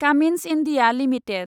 Cummins India limited